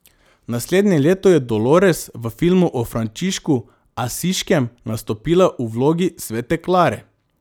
Naslednje leto je Dolores v filmu o Frančišku Asiškem nastopila v vlogi svete Klare.